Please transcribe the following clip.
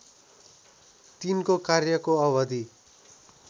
तिनको कार्यको अवधि